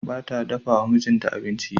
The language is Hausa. Ba ta dafa wa mijinta abinci.